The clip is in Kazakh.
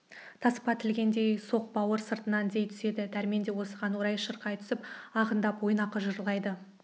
таспа тілгендей соқ бауыр сыртынан дей түседі дәрмен де осыған орай шырқай түсіп ағындап ойнақы жырлайды